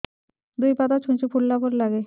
ଦୁଇ ପାଦ ଛୁଞ୍ଚି ଫୁଡିଲା ପରି ଲାଗେ